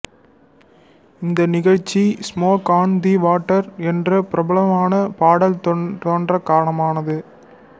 இந்த நிகழ்ச்சி smoke on the water என்ற பிரபலமான பாடல் தோன்றக் காரணமானது